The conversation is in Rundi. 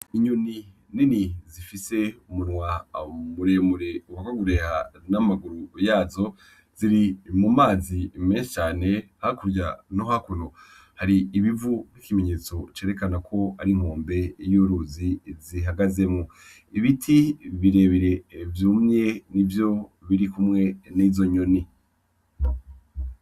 Inyoni nini zifise umunwa muremure uwagagureha n'amaguru yazo ziri mu mazi menshi cane hakurya no hakuno har'ibivu n'ikimenyetso cerekana ko ari nkombe y'uruzi zihagazemwo, ibiti birebire vyumye ni vyo biri kumwe n'izo nyoni.